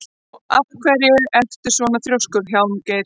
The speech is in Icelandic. Af hverju ertu svona þrjóskur, Hjálmgeir?